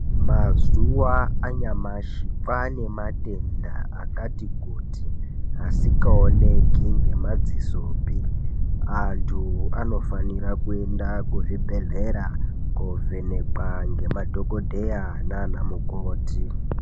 Mazuwa anyamashi kwane matenda akati kuti asingaoneki ngemadzisopi antu anofanira kuenda kuzvibhedhleya kovhenekwa ngemadhokodheya nanamukoti.